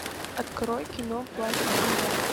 открой кино плащ и кинжал